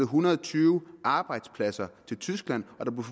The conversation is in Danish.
hundrede og tyve arbejdspladser til tyskland